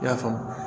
I y'a faamu